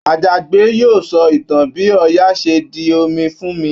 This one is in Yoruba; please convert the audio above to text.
Àjàgbé yóò sọ ìtàn bi Ọya ṣe di omi fún mi